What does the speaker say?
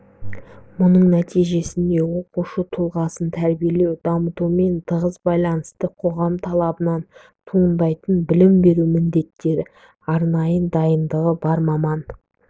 мұның нәтижесінде оқушы тұлғасын тәрбиелеу дамытумен тығыз байланысты қоғам талабынан туындайтын білім беру міндеттері арнайы дайындығы бар маман